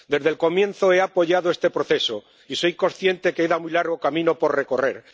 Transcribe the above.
Desde el comienzo he apoyado este proceso y soy consciente de que queda muy largo camino por recorrer.